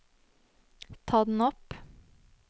ta den opp